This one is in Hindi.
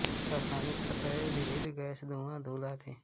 रासायनिक तत्व हैं विविध गैंसे धुआँ धूल आदि